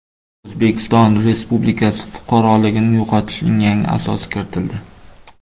O‘zbekiston Respublikasi fuqaroligini yo‘qotishning yangi asosi kiritildi.